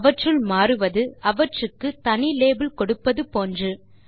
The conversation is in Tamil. அவற்றுள் மாறுவது அவற்றுக்கு தனி லேபிள் கொடுப்பது போன்று